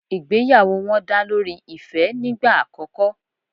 Ìgbéyàwó wọn dá lórí ìfẹ́ nígbà àkòko